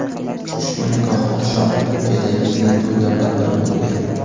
Ushbu nikoh oqshomi Turkiyadagi yil to‘ylaridan biri bo‘lgan.